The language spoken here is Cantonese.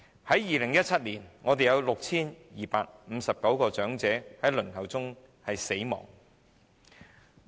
在2017年，本港有 6,259 位長者在輪候服務中死亡。